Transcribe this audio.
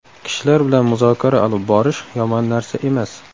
Kishilar bilan muzokara olib borish yomon narsa emas.